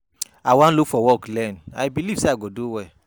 I wan look for work learn, I believe say I go do well.